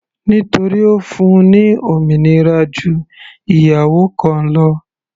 Nítorí Ó fún-un ní òmìnira ju ìyàwó kan lọ.